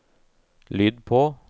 lyd på